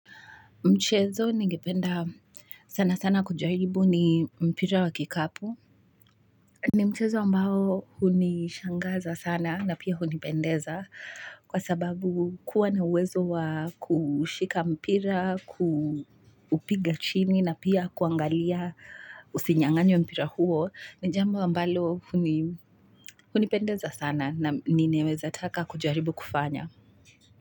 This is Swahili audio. Mchezo nigependa sana sana kujaribu ni mpira wa kikapu. Ni mchezo ambao hunishangaza sana na pia hunipendeza kwa sababu kuwa na uwezo wa kushika mpira, kuupiga chini na pia kuangalia usinyang'anywe mpira huo. Ni jambo ambalo hunipendeza sana na ninaweza taka kujaribu kufanya.